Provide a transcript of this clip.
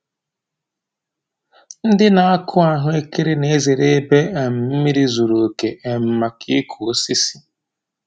Ndị na-akụ ahụ ekere na-ezere ebe um mmiri zuru oke um maka ịkụ osisi.